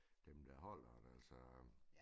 Dem der holder det altså